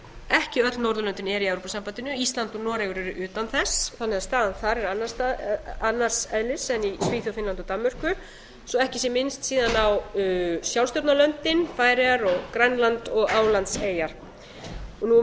ekki öll norðurlöndin eru í evrópusambandinu ísland og noregur eru utan þess þannig að staðan þar er annars eðlis en í svíþjóð finnlandi og danmörku svo ekki sé minnst síðan á sjálfsstjórnarlöndin færeyjar grænland og álandseyjar